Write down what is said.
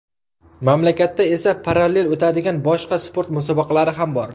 Mamlakatda esa parallel o‘tadigan boshqa sport musobaqalari ham bor.